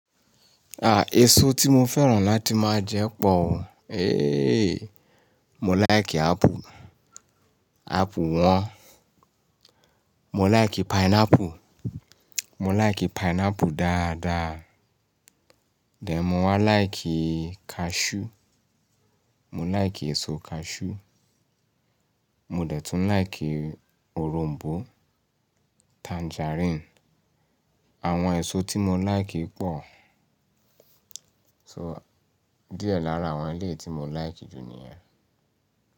À, èso tí mo fẹ́ràn láti máa jẹ pọ̀ òun. Éh éh, mo láì kí apple, apple wọ́n. Mo láì kí pineapple, mo láì kí pineapple dáadáa. Mo wá láì kí cashew, mo láì kí èso cashew. Mo dẹ̀ tún láì kí Òrom̀bó, tangerine. Àwọn èso tí mo láì kí pọ̀. So díẹ̀ lára àwọn ilé tí mo láì kí jù ni ẹ́.